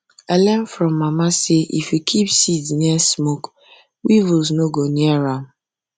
i learn from mama say if you keep seeds near smoke weevils no go near am